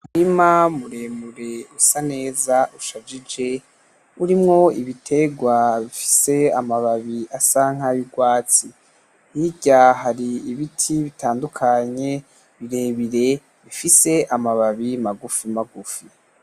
Umurima muremure usa neza ushajije urimwo ibitegwa bifise amababi asa nurwatsi hirya hari ibiti bitandukanye birebire bifise amababi magufi magufi.